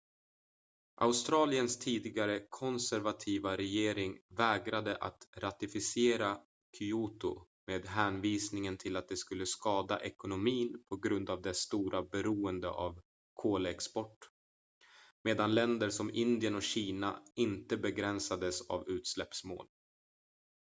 australiens tidigare konservativa regering vägrade att ratificera kyoto med hänvisning till att det skulle skada ekonomin på grund av dess stora beroende av kolexport medan länder som indien och kina inte begränsades av utsläppsmål